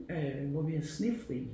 Øh hvor vi havde snefri